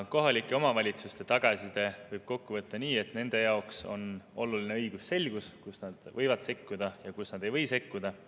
Kohalike omavalitsuste tagasiside võib kokku võtta nii, et nende jaoks on oluline õigusselgus, kus nad võivad sekkuda ja kus nad ei või sekkuda.